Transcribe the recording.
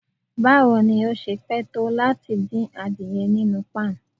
Bawo ni o ṣe pẹ to lati din adiẹ ninu pan?